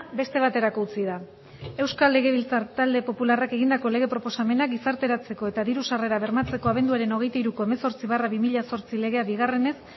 beste baterako utzi da euskal legebiltzar talde popularrak egindako lege proposamena gizarteratzeko eta diru sarrerak bermatzeko abenduaren hogeita hiruko hemezortzi barra bi mila zortzi legea bigarrenez